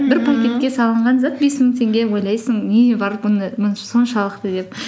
пакетке салынған зат бес мың теңге ойлайсың не бар бұны соншалықты деп